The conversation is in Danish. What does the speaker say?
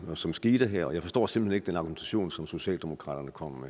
som skete her og jeg forstår simpelt hen ikke den argumentation som socialdemokraterne kommer